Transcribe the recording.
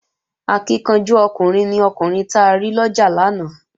Akíkanjú ọkùnrin ni ọkùnrin ta rí lọ́jà lánàá